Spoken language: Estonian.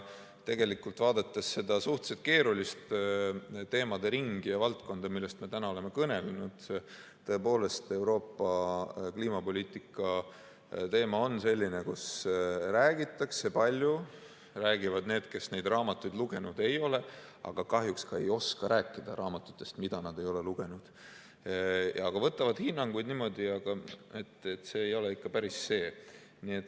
Tegelikult, vaadates seda suhteliselt keeruliste teemade ringi ja valdkonda, millest me täna oleme kõnelenud, siis tõepoolest, Euroopa kliimapoliitika teema on selline, kus räägitakse palju, räägivad need, kes neid raamatuid lugenud ei ole ja kahjuks ka ei oska rääkida raamatutest, mida nad ei ole lugenud, aga võtavad hinnanguid niimoodi, et see ei ole ikka päris see.